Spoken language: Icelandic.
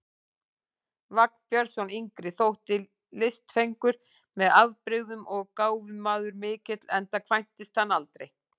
Vagn Björnsson yngri þótti listfengur með afbrigðum og gáfumaður mikill, enda kvæntist hann aldrei.